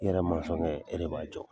I yɛrɛ masɔnkɛ e de b'a jɔ.